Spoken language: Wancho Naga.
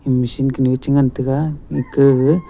meshin kanu che ngan taga ekh gag--